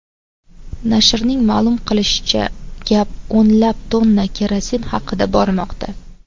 Nashrning ma’lum qilishicha, gap o‘nlab tonna kerosin haqida bormoqda.